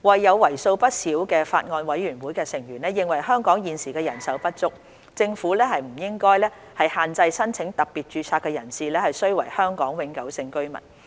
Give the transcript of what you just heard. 有為數不少的法案委員會成員認為香港醫生現時人手不足，政府不應限制申請特別註冊的人士須為香港永久性居民。